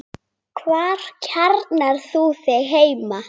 Hvar kjarnar þú þig heima?